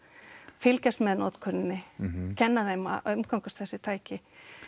fylgjast með notkuninni kenna þeim að umgangast þessi tæki